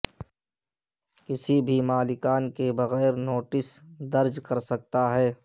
کسی بھی مالکان کے بغیر نوٹس نوٹس درج کر سکتا ہے